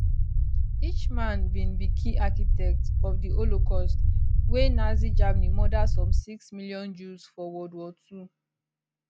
eichmann bin be key architect of di holocaust wia nazi germany murder some six million jews for world war ii